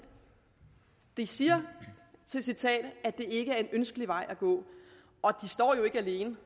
de siger i citatet at det ikke er en ønskelig vej at gå og de står jo ikke alene